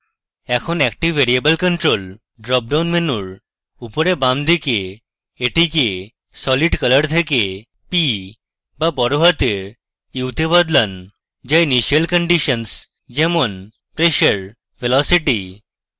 এরপর active variable control dropdown মেনুর উপরে বামদিকে এটিকে solid color থেকে p বা বড়হাতের u তে বদলান যা initial conditions যেমন pressure velocity